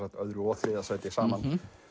öðru og þriðja sæti saman